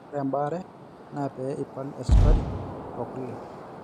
ORE EBAARE NAA PEE IPAL ESIKARI O KULE